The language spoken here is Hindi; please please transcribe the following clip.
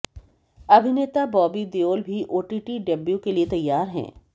अभिनेता बॉबी देओल भी ओटीटी डेब्यू के लिए तैयार हैं